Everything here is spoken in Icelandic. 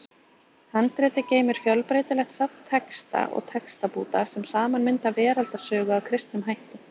Handritið geymir fjölbreytilegt safn texta og textabúta sem saman mynda veraldarsögu að kristnum hætti.